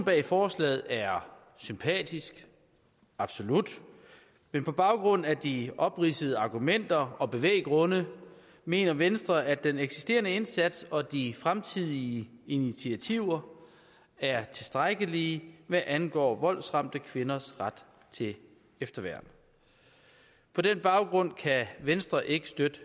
bag forslaget er sympatisk absolut men på baggrund af de opridsede argumenter og bevæggrunde mener venstre at den eksisterende indsats og de fremtidige initiativer er tilstrækkelige hvad angår voldsramte kvinders ret til efterværn på den baggrund kan venstre ikke støtte